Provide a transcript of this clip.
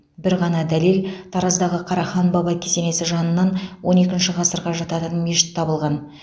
бір ғана дәлел тараздағы қарахан баба кесенесі жанынан он екінші ғасырға жататын мешіт табылған